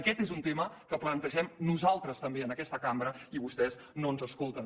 aquest és un tema que plantegem nosaltres també en aquesta cambra i vostès no ens escolten